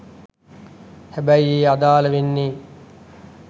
හැබැයි එය අදාල වෙන්නේ